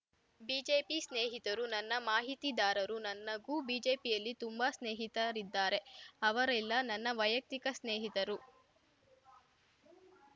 BJP ಸ್ನೇಹಿತರು ನನ್ನ ಮಾಹಿತಿದಾರರು ನನ್ನಗೂ ಗೂ ಬಿಜೆಪಿಯಲ್ಲಿ ತುಂಬಾ ಸ್ನೇಹಿತರಿದ್ದಾರೆ ಅವರೆಲ್ಲ ನನ್ನ ವೈಯಕ್ತಿಕ ಸ್ನೇಹಿತರು